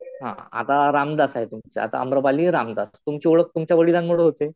हा. आता रामदास आहे तुमचं . आता आम्रपाली रामदास. तुमची ओळख तुमच्या वडिलांमुळे होते.